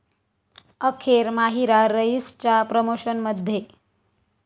अखेर माहिरा 'रईस'च्या प्रमोशनमध्ये